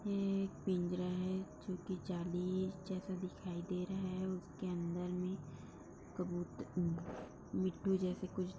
यह एक पिंजरा है जो कि जालि जैसा दिखाई दे रहा है उसके अन्दर में कबुत मिट्टू जैसा कुछ --